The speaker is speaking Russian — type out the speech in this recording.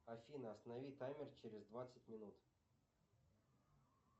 афина останови таймер через двадцать минут